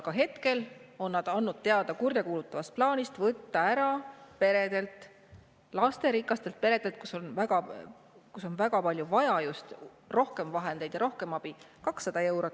Aga hetkel on nad andnud teada kurjakuulutavast plaanist võtta ära lasterikastelt peredelt, kus on vaja väga palju rohkem vahendeid ja rohkem abi, 200 eurot.